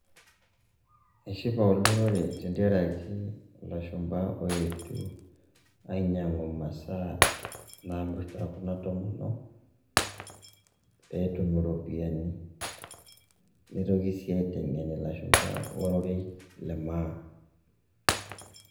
eshipa olorere tentiaraki lashumba oetuo ainyang'u imasaa namirta kuna tomonok peetum iropiani, nitoki sii aiteng'en ilashumba ororei le maa.